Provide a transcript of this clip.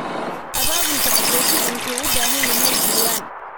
Abaabulka qaxootigu wuxuu u baahan yahay diiwaan.